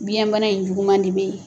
Biɲɛ bana in juguman de bɛ yen.